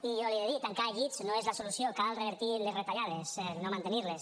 i jo li he de dir tancar llits no és la solució cal revertir les retallades no mantenir les